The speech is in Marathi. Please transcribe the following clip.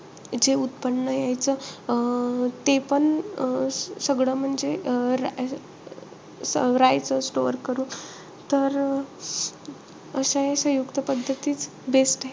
जे उत्पन्न यायचं अं तेपण अं सगळं म्हणजे अं राहायचं store करून. तर असंय सयुंक्त पद्धतीत,